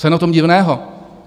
Co je na tom divného?